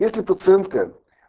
если пациентка